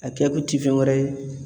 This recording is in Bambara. A kɛ kun ti fɛn wɛrɛ ye